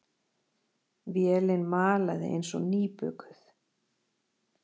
Vélin malaði eins og nýbökuð.